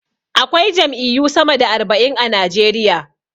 Akwai jam'iyyu sama da arba'in a Najeriya.